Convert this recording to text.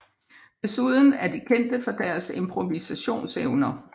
Desuden er de kendte for deres improvisationsevner